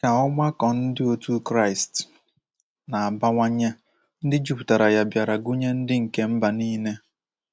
Ka ọgbakọ ndị otu Kraịst na-abawanye, ndị jupụtara ya bịara gụnye ndị nke mba nile.